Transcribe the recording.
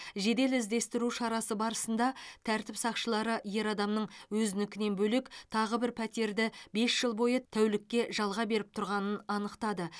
жедел іздестіру шарасы барысында тәртіп сақшылары ер адамның өзінікінен бөлек тағы бір пәтерді бес жыл бойы тәулікке жалға беріп тұрғанын анықтады